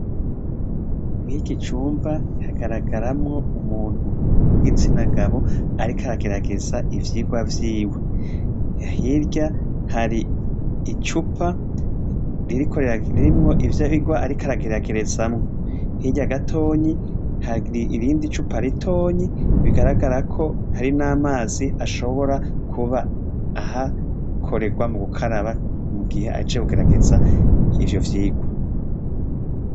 Mwiki cumba hagaragaramwo umuntu w'igitsinagabo arikaragerageza ivyirwa vyiwe, hirya hari icupa ririkorera ririmwo ivyo birwa arikarageragerezamwo, hirya gatonyi hari irindi cupa aritonyi bigaraga agara ko hari n'amazi ashobora kuba ahakorerwa mu gukaraba mu gihe acegugerageza ivyo vyirwa.